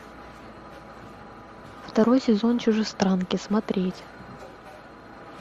второй сезон чужестранки смотреть